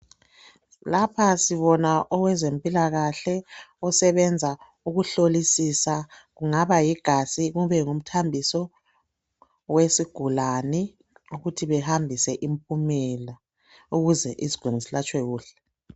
Lapha sibona owezempilakahle osebenza ukuhlolisisa kungaba yigazi kube ngumthambiso wesigulane ukuthi behambise impumela ukuze isigulane silatshwe kuhle.